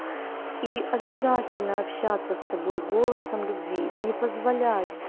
и обязательно общаться с собой голосом любви не позволять